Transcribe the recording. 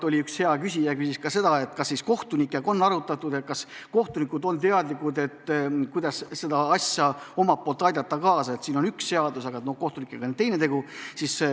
Üks hea küsija küsis enne, kas kohtunikega on eelnõu arutatud ja kas kohtunikud on teadlikud, kuidas omalt poolt kaasa aidata.